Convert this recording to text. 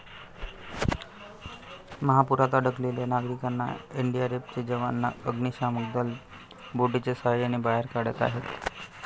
महापुरात अडकलेल्या नागरिकांना एनडीआरएफचे जवान, अग्निशमन दल बोटीच्या साहाय्याने बाहेर काढत आहेत.